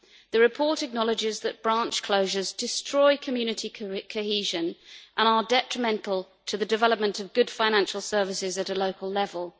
The report acknowledges that branch closures destroy community cohesion and are detrimental to the development of good financial services at a local level.